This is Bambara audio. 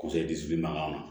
Kosɛdimanw na